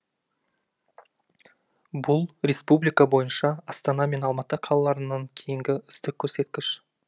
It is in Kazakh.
бұл республика бойынша астана мен алматы қалаларынан кейінгі үздік көрсеткіш